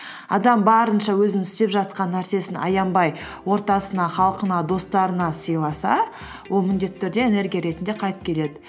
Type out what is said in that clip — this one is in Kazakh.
адам барынша өзінің істеп жатқан нәрсесін аянбай ортасына халқына достарына сыйласа ол міндетті түрде энергия ретінде қайтып келеді